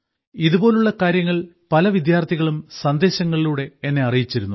ഇതുപോലുള്ള കാര്യങ്ങൾ പല വിദ്യാർത്ഥികളും സന്ദേശങ്ങളിലൂടെ എന്നെ അറിയിച്ചിരുന്നു